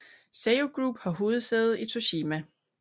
Seiyu Group har hovedsæde i Toshima